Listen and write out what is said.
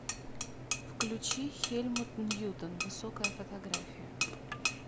включи хельмут ньютон высокая фотография